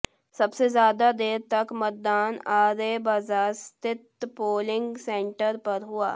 सबसे ज्यादा देर तक मतदान आरए बाजार स्थित पोलिंग सेंटर पर हुआ